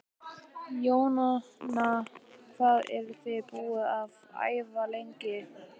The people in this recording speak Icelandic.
Jóhanna: Hvað eruð þið búin að æfa lengi?